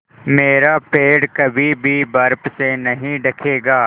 मेरा पेड़ कभी भी बर्फ़ से नहीं ढकेगा